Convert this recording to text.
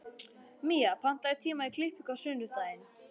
Mía, pantaðu tíma í klippingu á sunnudaginn.